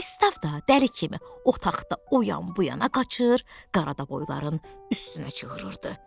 Pristav da dəli kimi otaqda o yan bu yana qaçır, qarabovoyların üstünə çığırırdı.